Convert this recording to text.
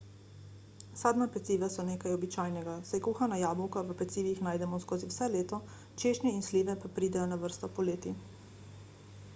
sadna peciva so nekaj običajnega saj kuhana jabolka v pecivih najdemo skozi vse leto češnje in slive pa pridejo na vrsto poleti